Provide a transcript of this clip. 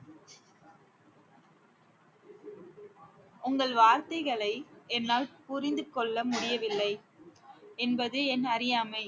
உங்கள் வார்த்தைகளை என்னால் புரிந்து கொள்ள முடியவில்லை என்பது என் அறியாமை